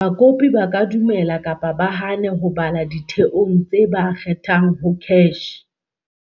Bakopi ba ka dumela kapa ba hane ho bala ditheong tse ba kgethang ho CACH.